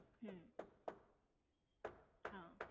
હમ્મ. હા.